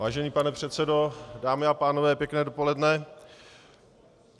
Vážený pane předsedo, dámy a pánové, pěkné dopoledne.